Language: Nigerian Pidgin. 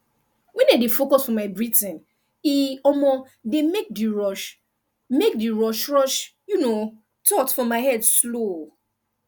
when i focus for my breathing e um dey make d rush make d rush rush um thought for my head slow